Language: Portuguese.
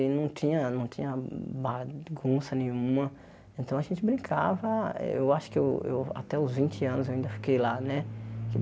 E não tinha não tinha bagunça nenhuma, então a gente brincava eh, eu acho que eu eu até os vinte anos eu ainda fiquei lá, né?